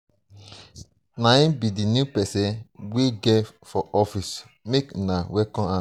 na him be the new person we get for office make una welcome am